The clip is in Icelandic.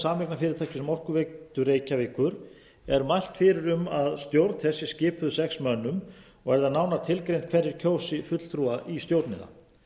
um orkuveitu reykjavíkur er mælt fyrir um að stjórn þess er skipuð sex mönnum og er það nánar tilgreint hverjir kjósi fulltrúa í stjórnina